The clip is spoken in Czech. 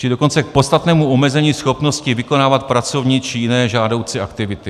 - či dokonce k podstatnému omezení schopnosti vykonávat pracovní či jiné žádoucí aktivity.